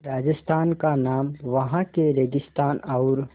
राजस्थान का नाम वहाँ के रेगिस्तान और